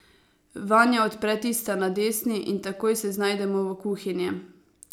Vanja odpre tista na desni in takoj se znajdemo v kuhinji.